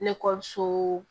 Nekɔliso